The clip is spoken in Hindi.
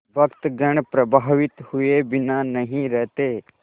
भक्तगण प्रभावित हुए बिना नहीं रहते